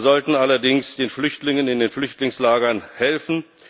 wir sollten allerdings den Flüchtlingen in den Flüchtlingslagern helfen.